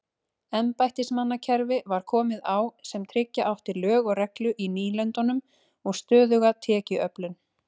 Embættismannakerfi var komið á sem tryggja átti lög og reglu í nýlendunum og stöðuga tekjuöflun.